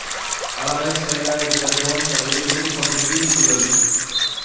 அழகாய் ஸ்டைலாய் இருந்த டோணி தலையை குதறிக் கொண்ட கீரிப்புள்ள லுக்